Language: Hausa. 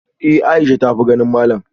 Eh Aisha ta tafi ganin malam